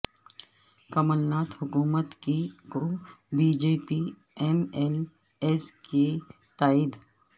کمل ناتھ حکومت کو B J P M L As کی تائید